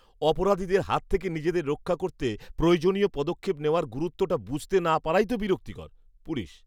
অপরাধীদের হাত থেকে নিজেদের রক্ষা করতে প্রয়োজনীয় পদক্ষেপ নেওয়ার গুরুত্বটা বুঝতে না পারাই তো বিরক্তিকর। পুলিশ